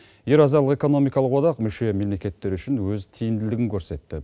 еуразиялық экономикалық одақ мүше мемлекеттер үшін өз тиімділігін көрсетті